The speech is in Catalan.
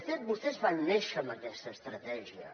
de fet vostès van néixer amb aquesta estratègia